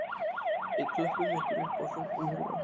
Við klöppum ykkur upp og hrópum húrra